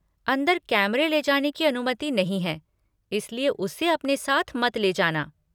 अंदर कैमरे ले जाने की अनुमति नहीं है इसलिए उसे अपने साथ मत ले जाना।